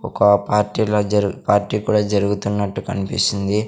ఒక పార్టీ లా జర్ పార్టీ కూడా జరుగుతున్నట్టు కనిపిస్తుంది.